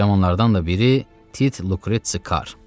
Cavanlardan da biri Tit Lukretsi Kar.